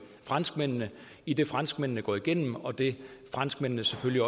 franskmændene i det franskmændene går igennem og det franskmændene selvfølgelig